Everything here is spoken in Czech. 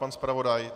Pan zpravodaj?